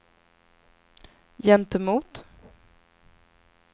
gentemot